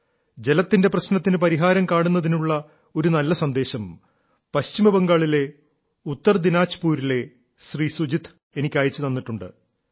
ജലത്തിന്റെ പ്രശ്നത്തിന് പരിഹാരം കാണുന്നതിനുള്ള ഒരു നല്ല സന്ദേശം പശ്ചിമബംഗാളിലെ ഉത്തര ദിനാജ്പുരിലെ ശ്രീ സുജിത് എനിക്ക് അയച്ചു തന്നിട്ടുണ്ട്